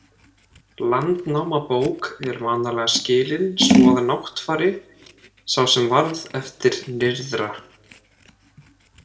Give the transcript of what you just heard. Landnámabók er vanalega skilin svo að Náttfari sá sem varð eftir nyrðra.